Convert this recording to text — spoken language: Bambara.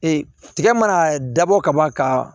tigɛ mana dabɔ ka ban ka